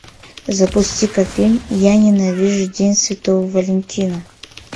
запусти ка фильм я ненавижу день святого валентина